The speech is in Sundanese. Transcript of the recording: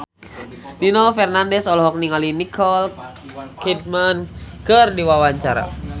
Nino Fernandez olohok ningali Nicole Kidman keur diwawancara